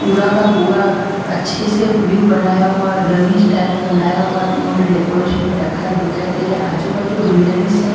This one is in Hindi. पूरा का पूरा अच्छे से व्यू बनाया हुआ डमी स्टाइल में बनाया हुआ उन्होंने डेकोरेशन में रखा है दिखाई दे रहा है आजू बाजू ग्रीनरीस है।